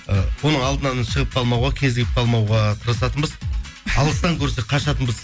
і оның алдынан шығып қалмауға кезігіп қалмауға тырысатынбыз алыстан көрсек қашатынбыз